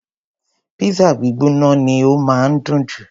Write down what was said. Pizza gbígbóná ni ó máa ń dùn jù.